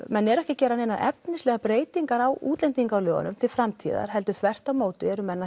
menn eru ekki að gera neinar efnislegar breytingar á útlendingalögum til framtíðar heldur þvert á móti eru menn